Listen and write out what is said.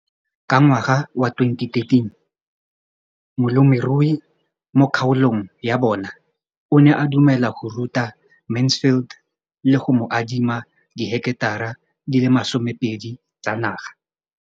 Ka ngwaga wa 2013, molemirui mo kgaolong ya bona o ne a dumela go ruta Mansfield le go mo adima di heketara di le 12 tsa naga.